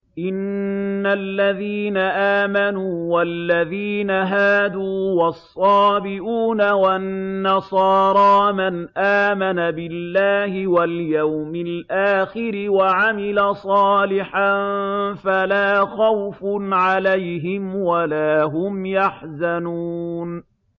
إِنَّ الَّذِينَ آمَنُوا وَالَّذِينَ هَادُوا وَالصَّابِئُونَ وَالنَّصَارَىٰ مَنْ آمَنَ بِاللَّهِ وَالْيَوْمِ الْآخِرِ وَعَمِلَ صَالِحًا فَلَا خَوْفٌ عَلَيْهِمْ وَلَا هُمْ يَحْزَنُونَ